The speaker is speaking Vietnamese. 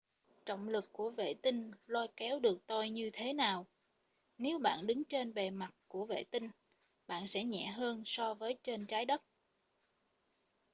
trọng lực của vệ tinh lôi kéo được tôi như thế nào nếu bạn đứng trên bề mặt của vệ tinh bạn sẽ nhẹ hơn so với trên trái đất